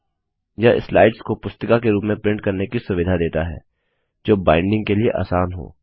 यह स्लाइड्स को पुस्तिका के रूप में प्रिंट करने की सुविधा देता है जो बाइंडिंग के लिए आसान हो